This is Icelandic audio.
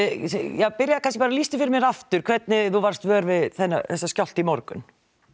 já byrjaðu kannski bara lýstu fyrir mér aftur hvernig þú varst vör við þennan skjálfta í morgun